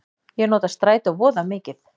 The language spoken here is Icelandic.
Ég nota strætó voða mikið.